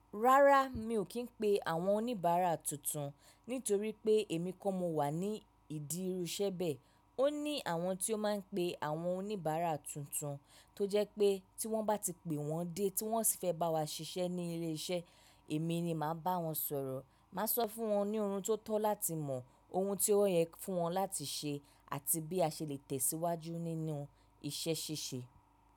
Rárá mi ò kí ń pe àwọn oníbàárà tuntun nítorí pé èmi ko mo wà ní ìdi iru iṣẹ́ bẹ́ẹ̀. Ó ní àwọn tí ó máa ń pe àwọn oníbàárà tuntun tó jẹ́ pé tí wọ́n bá ti pè wọ́n dé tí wọ́n sì fẹ́ bá wa ṣiṣẹ́ ní ilé iṣẹ́, èmi ni màá bá wọn sọ̀rọ̀. Màá sọ fún wọn ní ohun tó tọ́ láti mọ̀, ohun tí ọ́ yẹ fún wọn láti ṣe àti bí a ṣe lè tẹ̀síwájú nínú iṣẹ́ ṣíṣe.